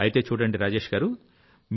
అయితే చూడండి రాజేష్ గారూ